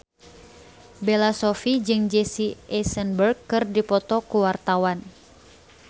Bella Shofie jeung Jesse Eisenberg keur dipoto ku wartawan